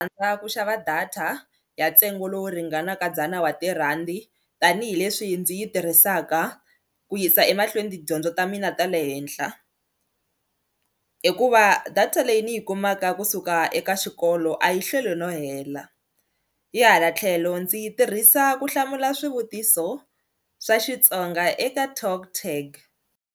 ku xava data ya ntsengo lowu ringanaka dzana wa tirhandi tanihileswi ndzi yi tirhisaka ku yisa emahlweni tidyondzo ta mina ta le henhla hikuva data leyi ni yi kumaka kusuka eka xikolo a yi hlweli no hela hi hala tlhelo ndzi yi tirhisa ku hlamula swivutiso swa Xitsonga eka TalkTag.